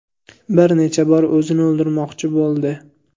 Bir necha bor o‘zini o‘ldirmoqchi bo‘ldi.